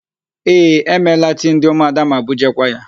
Ee, e meela tii ndị ụmụada ma bujeekwa ya.